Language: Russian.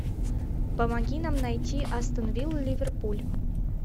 помоги нам найти астон вилла ливерпуль